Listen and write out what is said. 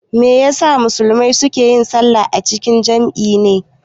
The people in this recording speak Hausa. Me ya sa musulmai su ke yin sallah a cikin jam'i ne?